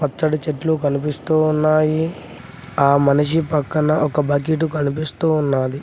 పచ్చటి చెట్లు కనిపిస్తూ ఉన్నాయి ఆ మనిషి పక్కన ఒక బకిట్ కనిపిస్తూ ఉన్నది.